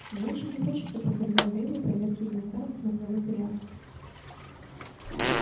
мне очень не хочется подвергать дейва проверке элементарных мозговых реакций